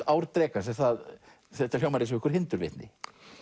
ár drekans þetta hljómar eins og einhver hindurvitni